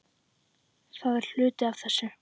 Það er hluti af þessu.